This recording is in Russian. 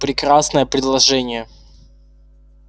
прекрасное предложение